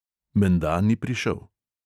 Menda ni prišel …